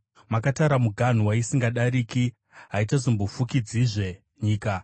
Makatara muganhu waisingadariki; haichazombofukidzizve nyika.